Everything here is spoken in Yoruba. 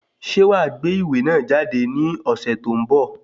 Ṣe wàá gbé ìwé náà jáde ní ọ̀sẹ̀ tó ń bọ̀?